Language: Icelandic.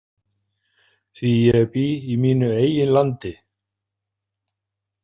Því ég bý í mínu eigin landi.